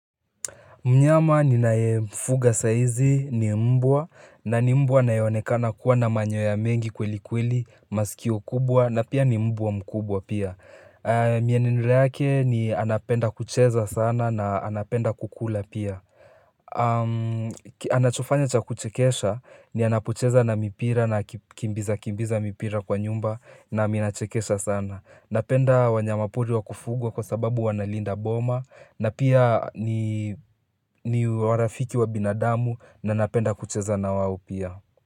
Mnyama ninayemfuga sahizi ni mbwa na ni mbwa anayeonekana kuwa na manyoya mengi kweli kweli masikio kubwa na pia ni mbwa mkubwa pia mienendo yake ni anapenda kucheza sana na anapenda kukula pia Anachofanya cha kuchekesha ni anapocheza na mipira na kimbiza kimbiza mipira kwa nyumba na minachekesha sana Napenda wanyamapori wa kufugwa kwa sababu wanalinda boma na pia ni warafiki wa binadamu na napenda kucheza na wao pia.